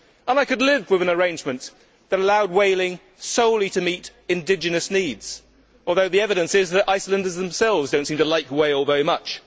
I could live with an arrangement that allowed whaling solely to meet indigenous needs, although the evidence is that Icelanders themselves do not seem to like whale very much.